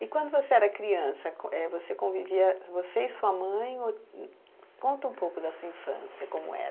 E quando você era criança, com é, você convivia, você e sua mãe ou, conta um pouco da sua infância, como era.